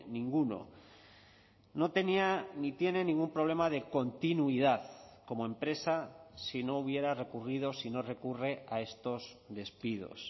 ninguno no tenía ni tiene ningún problema de continuidad como empresa si no hubiera recurrido si no recurre a estos despidos